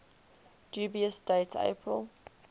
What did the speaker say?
dubious date april